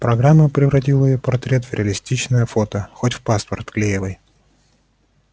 программа превратила её портрет в реалистичное фото хоть в паспорт вклеивай